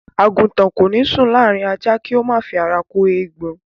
Àgùtàn kò ní sùn láàrín ajá, kó má fi ara kó eégbọn.